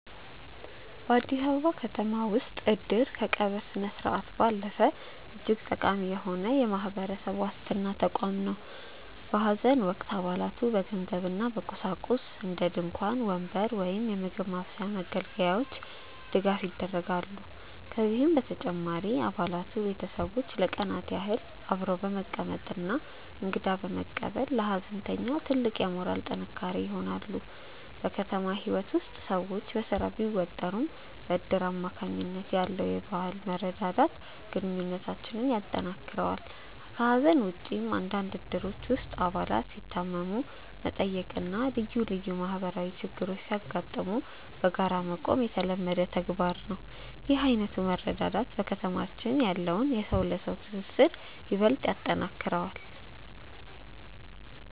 በአዲስ አበባ ከተማ ውስጥ "እድር" ከቀብር ስነስርዓት ባለፈ እጅግ ጠቃሚ የሆነ የማህበራዊ ዋስትና ተቋም ነው። በሐዘን ወቅት አባላቱ በገንዘብና በቁሳቁስ (እንደ ድንኳን፣ ወንበር እና የምግብ ማብሰያ መገልገያዎች) ድጋፍ ያደርጋሉ። ከዚህም በተጨማሪ የአባላቱ ቤተሰቦች ለቀናት ያህል አብረው በመቀመጥና እንግዳ በመቀበል ለሐዘንተኛው ትልቅ የሞራል ጥንካሬ ይሆናሉ። በከተማ ህይወት ውስጥ ሰዎች በስራ ቢወጠሩም፣ በእድር አማካኝነት ያለው የመረዳዳት ባህል ግንኙነታችንን ያጠናክረዋል። ከሐዘን ውጭም፣ በአንዳንድ እድሮች ውስጥ አባላት ሲታመሙ መጠየቅና ልዩ ልዩ ማህበራዊ ችግሮች ሲያጋጥሙ በጋራ መቆም የተለመደ ተግባር ነው። ይህ ዓይነቱ መረዳዳት በከተማችን ያለውን የሰው ለሰው ትስስር ይበልጥ ያጠነክረዋል።